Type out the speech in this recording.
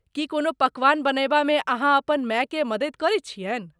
की कोनो पकवान बनयबामे अहाँ अपन मायकेँ मदति करैत छियनि?